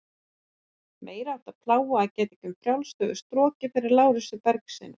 Meiriháttar plága að geta ekki um frjálst höfuð strokið fyrir Lárusi Bergssyni.